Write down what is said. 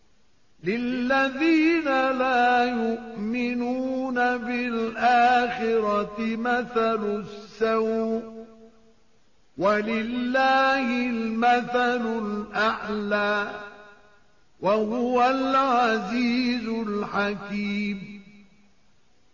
لِلَّذِينَ لَا يُؤْمِنُونَ بِالْآخِرَةِ مَثَلُ السَّوْءِ ۖ وَلِلَّهِ الْمَثَلُ الْأَعْلَىٰ ۚ وَهُوَ الْعَزِيزُ الْحَكِيمُ